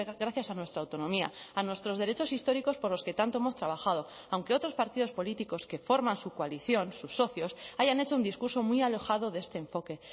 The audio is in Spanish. gracias a nuestra autonomía a nuestros derechos históricos por los que tanto hemos trabajado aunque otros partidos políticos que forman su coalición sus socios hayan hecho un discurso muy alejado de este enfoque